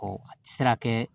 Ɔ a tɛ se ka kɛ